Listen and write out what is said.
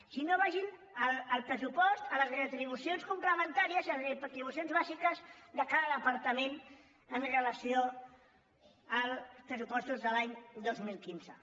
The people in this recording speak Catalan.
si no vagin al pressupost a les retribucions comple·mentàries i a les retribucions bàsiques de cada depar·tament amb relació als pressupostos de l’any dos mil quinze